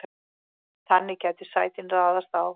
þannig gætu sætin raðast á